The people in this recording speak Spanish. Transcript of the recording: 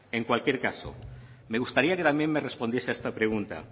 en cualquier caso me gustaría que también me respondiese a esta pregunta